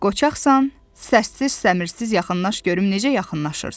Qoçaqsan, səssiz-səmirsiz yaxınlaş görüm necə yaxınlaşırsan?